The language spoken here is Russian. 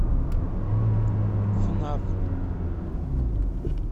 фнаф